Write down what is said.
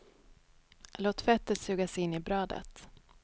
Låt fettet sugas in i brödet.